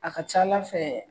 A ka ca ala fɛ